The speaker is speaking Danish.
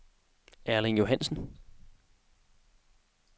Erling Johannesen